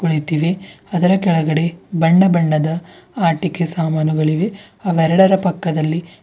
ಕುಳಿತಿವೆ ಅದರ ಕೆಳಗಡೆ ಬಣ್ಣ ಬಣ್ಣದ ಆಟಿಕೆ ಸಾಮಾನುಗಳಿವೆ ಆ ಎರಡರ ಪಕ್ಕದಲ್ಲಿ.